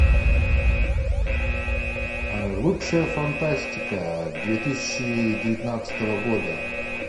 лучшая фантастика две тысячи девятнадцатого года